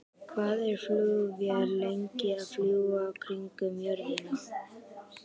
Hvað er flugvél lengi að fljúga kringum jörðina?